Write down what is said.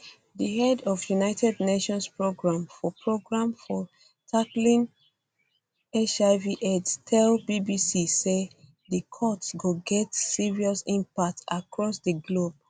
di head of united nations programme for programme for tackling hivaids tell bbc say di cuts go get serious impacts across di globe